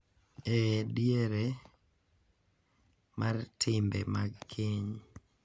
E diere mar timbe mag keny .